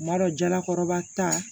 Kuma dɔ jalakɔrɔba ta